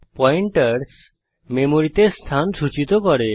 pointers মেমরিতে স্থান সূচিত করে